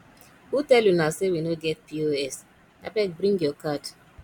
who tell una sey we no get pos abeg bring your card